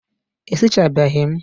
E sichabeghi m?